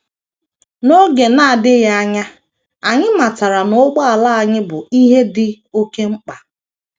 N’oge na - adịghị anya, anyị matara na ụgbọala anyị bụ ihe dị oké mkpa.